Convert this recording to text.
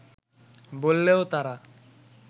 বললেও তারা